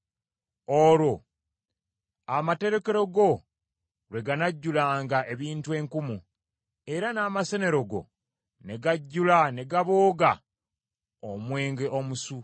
olwo amaterekero go lwe ganajjulanga ebintu enkumu, era n’amasenero go ne gajjula ne gabooga omwenge omusu.